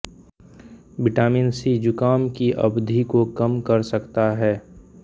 vitamin C ज़ुकाम की अवधि को कम कर सकता है